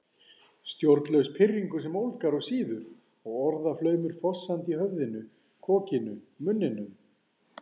Stjórnlaus pirringur sem ólgar og sýður og orðaflaumur fossandi í höfðinu, kokinu, munninum